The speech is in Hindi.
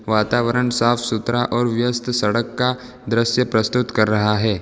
वातावरन साफ सुथरा और व्यस्त सड़क का द्रश्य प्रस्तुत कर रहा है।